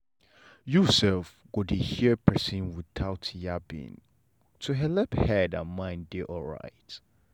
you self go dey hear persin without yabbing to helep head and mind dey alright.